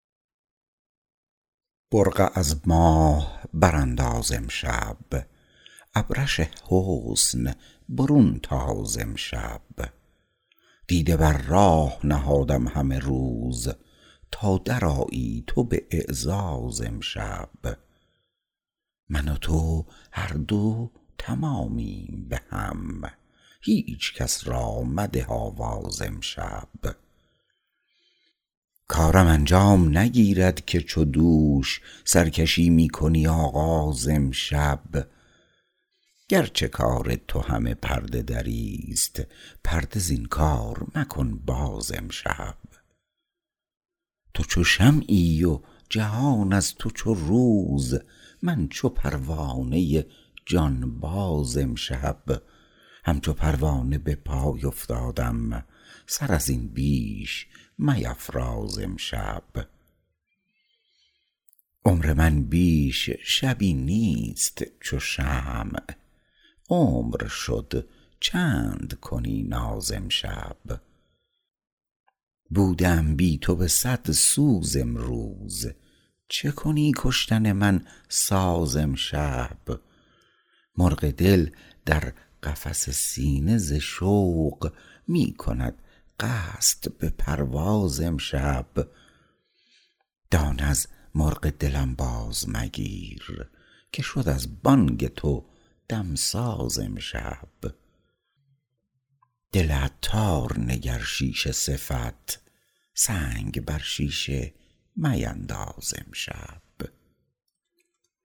برقع از ماه برانداز امشب ابرش حسن برون تاز امشب دیده بر راه نهادم همه روز تا درآیی تو به اعزاز امشب من و تو هر دو تمامیم بهم هیچکس را مده آواز امشب کارم انجام نگیرد که چو دوش سرکشی می کنی آغاز امشب گرچه کار تو همه پرده دری است پرده زین کار مکن باز امشب تو چو شمعی و جهان از تو چو روز من چو پروانه جانباز امشب همچو پروانه به پای افتادم سر ازین بیش میفراز امشب عمر من بیش شبی نیست چو شمع عمر شد چند کنی ناز امشب نفسی در رخ من خند چو صبح همچو شمعم چه نهی گاز امشب بوده ام بی تو به صد سوز امروز چکنی کشتن من ساز امشب مرغ دل در قفس سینه ز شوق می کند قصد به پرواز امشب دانه از مرغ دلم باز مگیر که شد از بانگ تو دمساز امشب رازم از دم مفکن فاش چو صبح که تویی همدم و همراز امشب دل عطار نگر شیشه صفت سنگ بر شیشه مینداز امشب